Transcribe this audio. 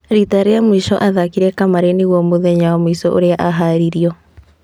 Rita rĩa mũico aathakire kamarĩ nĩguo mũthenya wa mũico ũrĩa aharirio.